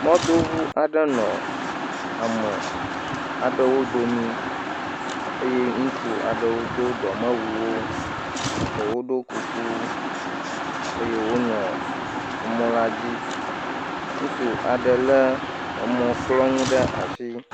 Mɔdoʋu aɖewo nɔ ame aɖewo domi eye ŋutsu aɖewo do dɔmewuwo ɖewo ɖɔ kuku eye wonɔ mɔ la dzi ŋutsu le mɔkplɔnu ɖe asi